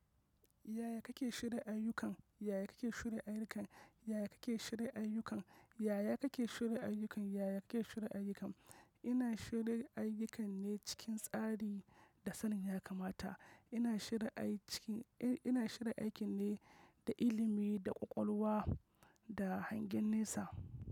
Yaya kake shirya ayyukan? Yaya kake shirya ayyukan? Yaya kake shirya ayyukan? Yaya kake shirya ayyukan? Yaya kake shirya ayyukan? Ina shirya ayyukan ne cikin tsari da sanin ya kamata. Ina shirya aikina ne da ilimi, da ƙwaƙwalwa, da hangen nesa.